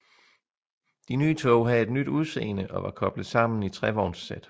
De nye tog havde et nyt udseende og var koblet sammen i trevognssæt